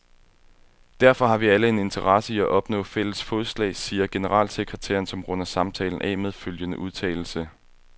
Derfor har vi alle en interesse i at opnå fælles fodslag, siger generalsekretæren, som runder samtalen af med følgende udtalelse.